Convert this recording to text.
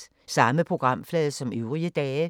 Samme programflade som øvrige dage